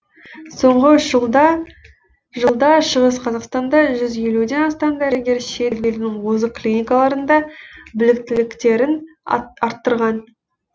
соңғы үш жылда жылда шығыс қазақстанда жүз елуден астам дәрігер шет елдің озық клинкаларында біліктіліктерін арттырған